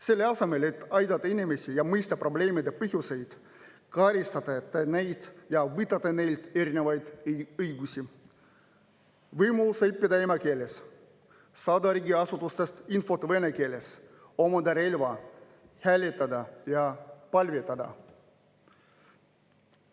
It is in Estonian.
Selle asemel, et aidata inimesi ja mõista probleemide põhjuseid, karistate te neid ja võtate neilt erinevaid õigusi: võimaluse õppida emakeeles, saada riigiasutustes infot vene keeles, omada relva, hääletada ja palvetada.